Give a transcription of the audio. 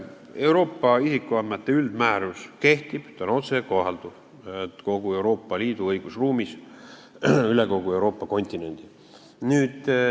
Euroopa isikuandmete üldmäärus kehtib, ta on otsekohalduv kogu Euroopa Liidu õigusruumis, üle kogu Euroopa kontinendi.